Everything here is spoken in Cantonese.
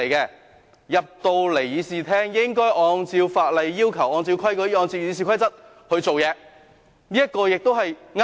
議員進入議事廳後，應該按照法例要求，按照規矩，按照《議事規則》行事，這也是對的。